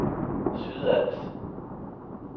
Sydals